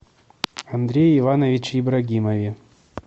андрее ивановиче ибрагимове